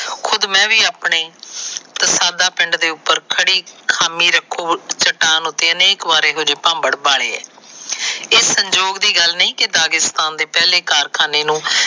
ਖੁੱਦ ਮੈ ਵੀ ਆਪਣੇ ਤਸਾਨਾ ਪਿੰਡ ਦੇ ਉੱਪਰ ਖੜੀ ਖਾਮੀ ਰੱਖੋ ਚਟਾਨ ਦੇ ਉੱਤੇ ਅਨੇਕ ਇਹੋ ਜਿਹੇ ਭਾਬੜ ਬਾਲੇ। ਇਹ ਸੰਜੋਗ ਦੀ ਗੱਲ ਨਹੀ ਕਿ ਦਾਗਿਸਥਾਨ ਦੇ ਪਹਿਲੇ ਕਾਰਖਾਨੇ ਨੂੰ।